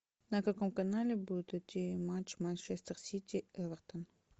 на каком канале будет идти матч манчестер сити эвертон